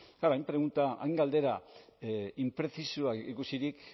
klaro hain pregunta hain galdera inprezisoa ikusirik